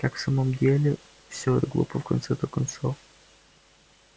как в самом деле все это глупо в конце-то концов